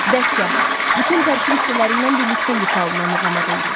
Dəstgah: Bütün tərkib hissələriylə birlikdə ifa olunan muğama deyilir.